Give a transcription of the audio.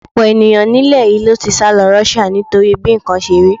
Ọ̀pọ̀ ènìyàn nílẹ̀ yìí ló ti sálọ Russia nítorí bí nǹkan ṣe rí.